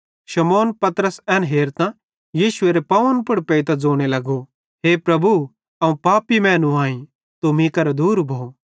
शमौन पतरसे एन हेरतां यीशुएरे पावन पुड़ पेइतां ज़ोने लगे हे प्रभु अवं पापी मैनू आईं तू मीं करां दूर भो